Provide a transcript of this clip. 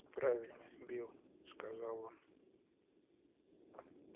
правильно билл сказал он